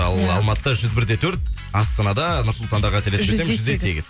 ал алматыда жүз бір де төрт астанада нұр сұлтанда қателеспесем жүз де сегіз